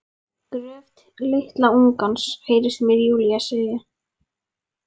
Gröf litla ungans, heyrist mér Júlía segja.